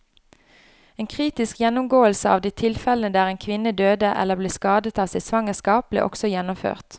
En kritisk gjennomgåelse av de tilfellene der en kvinne døde eller ble skadet av sitt svangerskap, ble også gjennomført.